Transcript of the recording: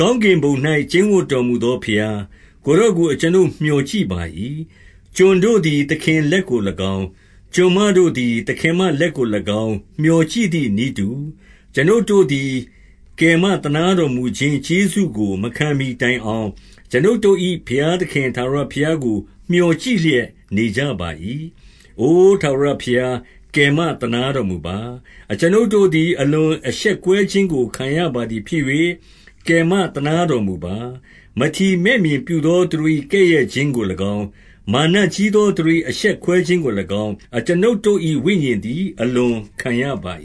ကောင်းကင်ဘုံ၌ ကျိန်းဝပ်တော် မူသောဘုရား၊ ကိုယ်တော်ကို အကျွန်ုပ် မျှော်ကြည့်ပါ၏။ 2 ကျွန်တို့သည် သခင်လက်ကို၎င်း၊ ကျွန်မတို့သည် သခင်မလက်ကို၎င်း မျှော်ကြည့်သည်နည်းတူ၊ အကျွန်ုပ်တို့ သည် ကယ်မသနားတော်မူခြင်းကျေးဇူးကို မခံမှီတိုင် အောင်၊ အကျွန်ုပ်တို့၏ ဘုရားသခင် ထာဝရဘုရားကို မျှော်ကြည့်လျက်နေကြပါ၏။ 3 အို ထာဝရဘုရား၊ ကယ်မသနားတော်မူပါ။ အကျွန်ုပ်တို့သည် အလွန်အရှက်ကွဲခြင်းကိုခံရပါသည် ဖြစ်၍၊ ကယ်မသနားတော်မူပါ။ 4 မထီမဲ့မြင်ပြုသော သူတို့၏ ကဲ့ရဲ့ခြင်းကို၎င်း၊ မာနကြီးသော သူတို့၏ အရှက်ခွဲခြင်းကို၎င်း၊ အကျွန်ုပ်တို့ ၏ ဝိညာဉ်သည် အလွန်ခံရပါ